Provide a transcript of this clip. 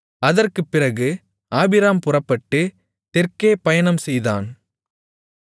அதற்குப் பிறகு ஆபிராம் புறப்பட்டு தெற்கே பயணம் செய்தான்